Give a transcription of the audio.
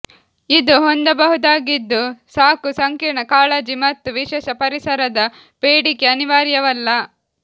ಇದು ಹೊಂದಬಹುದಾಗಿದ್ದು ಸಾಕು ಸಂಕೀರ್ಣ ಕಾಳಜಿ ಮತ್ತು ವಿಶೇಷ ಪರಿಸರದ ಬೇಡಿಕೆ ಅನಿವಾರ್ಯವಲ್ಲ